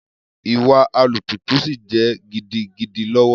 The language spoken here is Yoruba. Iwa Alùpùpù si jẹ gidigidi lọwọ.